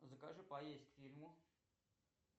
закажи поесть к фильму